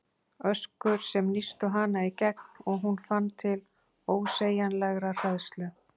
Öskur sem nístu hana í gegn og hún fann til ósegjanlegrar hræðslu.